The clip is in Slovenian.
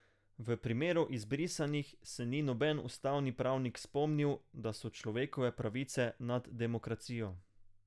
V primeru izbrisanih se ni noben ustavni pravnik spomnil, da so človekove pravice nad demokracijo.